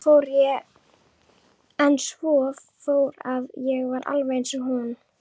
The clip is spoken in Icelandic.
En svo fór að ég varð eins og hún.